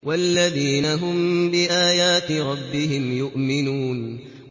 وَالَّذِينَ هُم بِآيَاتِ رَبِّهِمْ يُؤْمِنُونَ